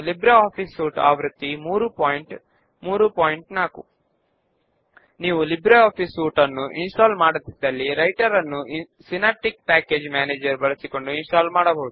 ఉదాహరణకు ఒక సభ్యుడు బుక్ ను రిటర్న్ చేస్తే మనము ఆ సమాచారమును అప్డేట్ చేయగలుగుతాము